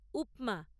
উপমা